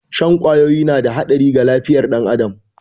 Shan kwawoyi na da haɗari ga lafiyar ɗan adam